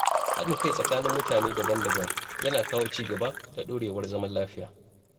Haɗin kai tsakanin mutane daban-daban yana kawo ci gaba da ɗorewar zaman lafiya